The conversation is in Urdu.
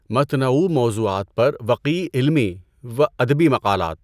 متنوع موضوعات پر وقیع علمی و ادبی مقالات